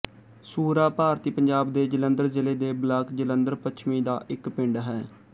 ਸੂਰਾ ਭਾਰਤੀ ਪੰਜਾਬ ਦੇ ਜਲੰਧਰ ਜ਼ਿਲ੍ਹੇ ਦੇ ਬਲਾਕ ਜਲੰਧਰ ਪੱਛਮੀ ਦਾ ਇੱਕ ਪਿੰਡ ਹੈ